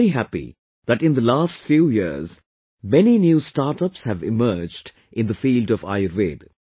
I am very happy that in the last few years many new startups have emerged in the field of Ayurveda